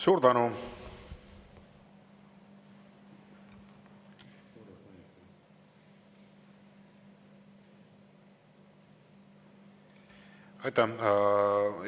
Suur tänu!